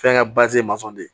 Fɛnkɛ ye masɔn de ye